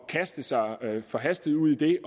kaste sig forhastet ud i det